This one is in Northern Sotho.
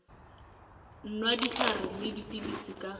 nwa dihlare le dipilisi ka